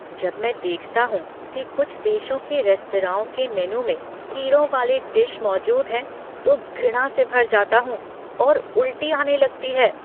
जब मैं देखता हूँ कि कुछ देशों के रेस्तराओं के मेनू में कीड़ों वाले डिश मौजूद हैं तो घृणा से भर जाता हूँ और उल्टी आने लगती है।